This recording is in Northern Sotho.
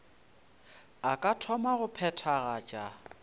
a ka thoma go phethagatša